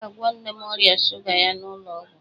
A ga-agwọ nne m ọrịa shuga ya n'ụlọ ọgwụ.